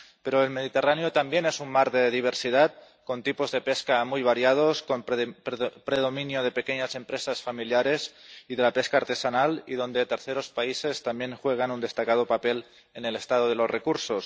Pero el Mediterráneo también es un mar de diversidad con tipos de pesca muy variados, con predominio de pequeñas empresas familiares y de la pesca artesanal y donde terceros países también juegan un destacado papel en el estado de los recursos.